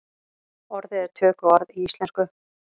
Orðið er tökuorð í íslensku.